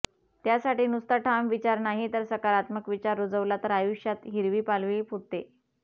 त्यासाठी नुसता ठाम विचार नाही तर सकारात्मक विचार रुजवला तर आयुष्यात हिरवी पालवी फुटते